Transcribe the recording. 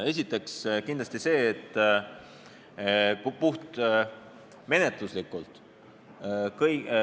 Esiteks puhtmenetluslik nüanss.